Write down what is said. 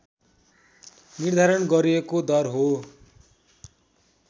निर्धारण गरिएको दर हो